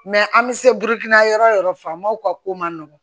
an bɛ se yɔrɔ yɔrɔ furanmaw ka ko man nɔgɔn